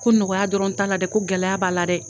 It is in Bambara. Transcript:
Ko nɔgɔya dɔrɔn t'a la dɛ ko gɛlɛya b'a la dɛ!